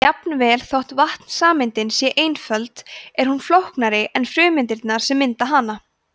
jafnvel þótt vatnssameindin sé einföld er hún flóknari en frumeindirnar sem mynda hana